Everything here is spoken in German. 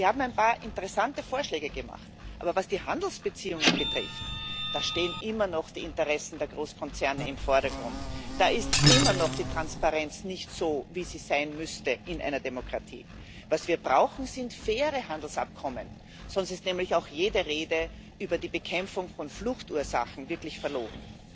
Sie haben ein paar interessante Vorschläge gemacht, aber was die Handelsbeziehungen betrifft Da stehen immer noch die Interessen der Großkonzerne im Vordergrund, da ist immer noch die Transparenz nicht so, wie sie in einer Demokratie sein müsste. Was wir brauchen, sind faire Handelsabkommen, sonst ist jede Rede über die Bekämpfung von Fluchtursachen wirklich verlogen.